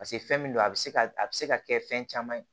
paseke fɛn min don a be se ka a be se ka kɛ fɛn caman ye